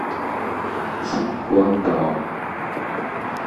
циньхуандао